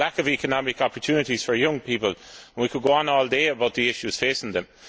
there is a lack of economic opportunities for young people we could go on all day about the issues facing them.